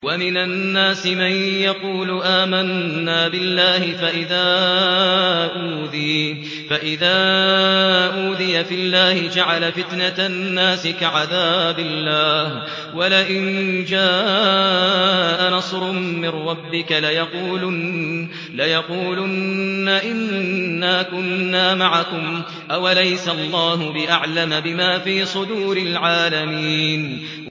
وَمِنَ النَّاسِ مَن يَقُولُ آمَنَّا بِاللَّهِ فَإِذَا أُوذِيَ فِي اللَّهِ جَعَلَ فِتْنَةَ النَّاسِ كَعَذَابِ اللَّهِ وَلَئِن جَاءَ نَصْرٌ مِّن رَّبِّكَ لَيَقُولُنَّ إِنَّا كُنَّا مَعَكُمْ ۚ أَوَلَيْسَ اللَّهُ بِأَعْلَمَ بِمَا فِي صُدُورِ الْعَالَمِينَ